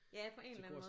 Ja på en eller anden måde